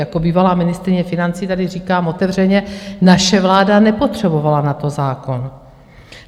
Jako bývalá ministryně financí tady říkám otevřeně: naše vláda nepotřebovala na to zákon.